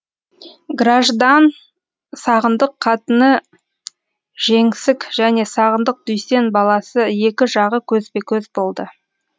граждан сағындық қатыны жеңсік және сағындық дүйсен баласы екі жағы көзбе көз болды